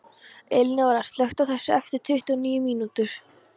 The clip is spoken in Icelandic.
Elinóra, slökktu á þessu eftir tuttugu og níu mínútur.